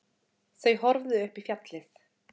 Þau horfðu upp í fjallið.